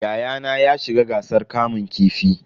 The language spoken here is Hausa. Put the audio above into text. Yayana ya shiga gasar kamun kifi.